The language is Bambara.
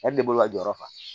A de bolo ka jɔyɔrɔ fa